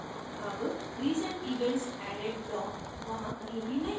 added recent events added block वहां कहीं भी नहीं है